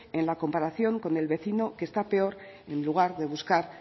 en la comparación con el vecino que está peor en lugar de buscar